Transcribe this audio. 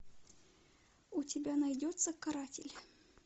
у тебя найдется каратель